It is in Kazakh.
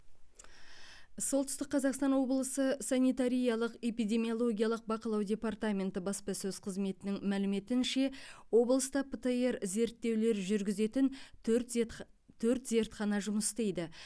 солтүстік қазақстан облысы санитариялық эпидемиологиялық бақылау департаменті баспасөз қызметінің мәліметінше облыста птр зерттеулер жүргізетін төрт зертха төрт зертхана жұмыс істейді